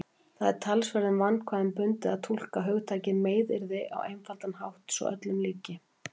Það er talsverðum vandkvæðum bundið að túlka hugtakið meiðyrði á einfaldan hátt svo öllum líki.